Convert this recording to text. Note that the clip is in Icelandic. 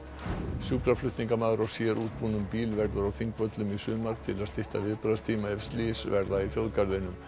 sjúkraflutningamaður á sérútbúnum bíl verður á Þingvöllum í sumar til að stytta viðbragðstíma ef slys verða í þjóðgarðinum